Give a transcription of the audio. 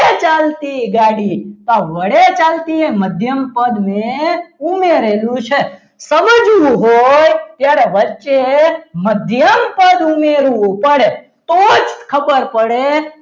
ચાલતી ગાડી જ્યાં વડે ચાલતી ગાડી મધ્યમ પદને ઉમેરેલું છે સમજવું હોય જ્યારે વચ્ચે મધ્યમ પદ ઉમેરવું પડે તો જ ખબર પડે.